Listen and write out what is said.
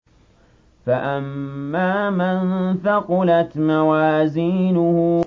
فَأَمَّا مَن ثَقُلَتْ مَوَازِينُهُ